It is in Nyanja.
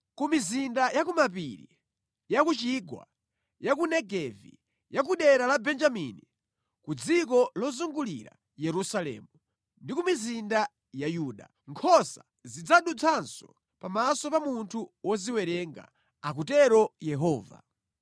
Ku mizinda ya kumapiri, ya kuchigwa, ya ku Negevi, ya ku dera la Benjamini, ku dziko lozungulira Yerusalemu, ndi ku mizinda ya Yuda, nkhosa zidzadutsanso pamaso pa munthu woziwerenga,’ akutero Yehova.